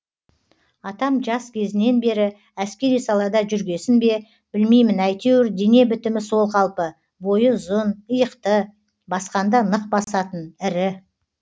атам жас кезінен бері әскери салада жүргесін бе білмеймін әйтеуір дене бітімі сол қалпы бойы ұзын иықты басқанда нық басатын ірі